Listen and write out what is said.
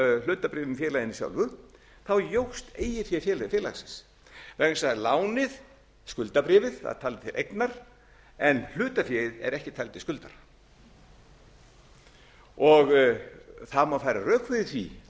hlutabréfum í félaginu sjálfu jókst eigið fé félagsins vegna þess að lánið skuldabréfið var talið til eignar en hlutaféð er ekki talið til skuldar það má færa rök fyrir því